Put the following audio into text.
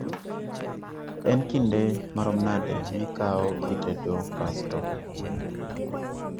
en kinde marom nade mikao kitedo pasto